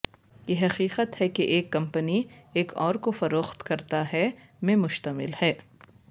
یہ حقیقت ہے کہ ایک کمپنی ایک اور کو فروخت کرتا ہے میں مشتمل ہے